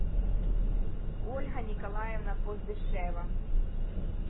ольга николаевна поздышева